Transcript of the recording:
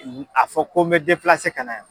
a fɔ ko n bɛ ka na yan.